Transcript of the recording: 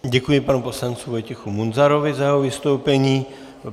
Děkuji panu poslanci Vojtěchu Munzarovi za jeho vystoupení.